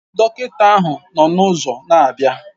Dọkịta ahụ nọ n'ụzọ na-abịa